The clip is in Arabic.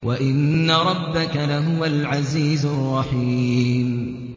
وَإِنَّ رَبَّكَ لَهُوَ الْعَزِيزُ الرَّحِيمُ